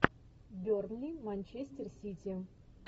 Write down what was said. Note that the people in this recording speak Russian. бернли манчестер сити